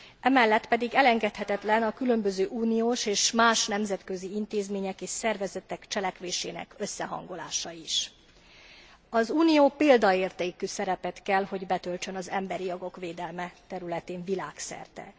Emellett pedig elengedhetetlen a különböző uniós és más nemzetközi intézmények és szervezetek cselekvésének összehangolása is. Az Unió példaértékű szerepet kell, hogy betöltsön az emberi jogok védelme területén világszerte.